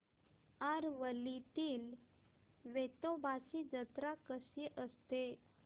आरवलीतील वेतोबाची जत्रा कशी असते